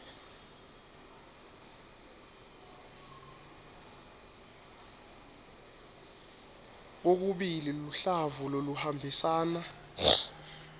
kokubili luhlavu loluhambisana